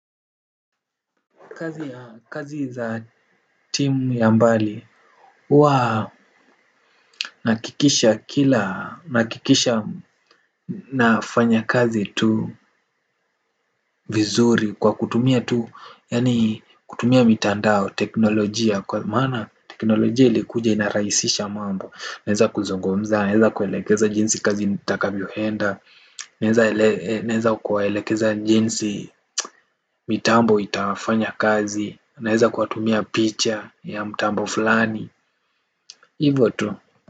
Kazi za timu ya mbali hUwa nahakikisha kila nahakikisha nafanya kazi tu vizuri. Kwa kutumia tu yani kutumia mitandao, teknolojia kwa maana teknolojia ilikuja inarahisisha mambo. Naeza kuzungumza, naeza kuelekeza jinsi kazi nitakavyo enda. Naeza kuwaelekeza jinsi mitambo itafanya kazi. Naeza kuwa tumia picha ya mtambo fulani. Hivyo tu.